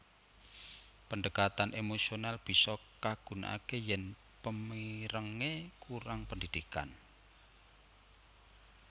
Pendekatan emosional bisa kagunakake yen pemirenge kurang pendidikan